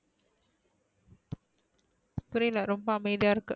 புரியல ரொம்ப அமைதியா இருக்கு?